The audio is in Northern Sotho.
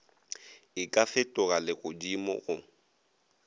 e ka fetoga legodimo go